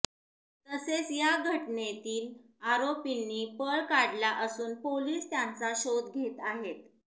तसेच या घटनेतील आरोपींनी पळ काढला असून पोलीस त्यांचा शोध घेत आहेत